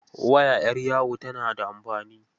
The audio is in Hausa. Waya 'yar yawo tana da amfani.